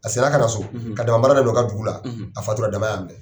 A segin na ka na so .Ka dama baara daminɛ u ka dugu la . A fatula dama ya minɛ